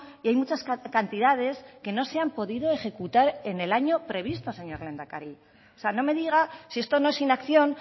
y hay muchas cantidades que no se han podido ejecutar en el año previsto señor lehendakari no me diga si esto no es inacción